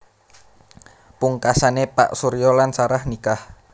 Pungkasané Pak Surya lan Sarah nikah